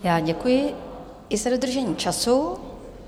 Já děkuji i za dodržení času.